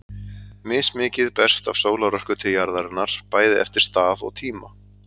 Mismikið berst af sólarorku til jarðarinnar, bæði eftir stað og tíma.